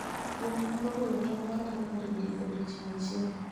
Gweno nyalo golo tong' maromo nade e odiechieng' achiel?